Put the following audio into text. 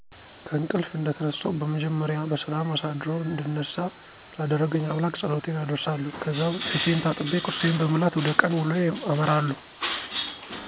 ከእንቅልፍ እንደተነሳሁ በመጀመሪያ በሠላም አሳድሮ እንድነሳ ላደረገኝ አምላክ ፀሎቴን አደርሳለሁ፣ ከዛም ፊቴን ታጥቤ ቁርሴን በመብላት ወደ ቀን ውሎዬ አመራለሁ።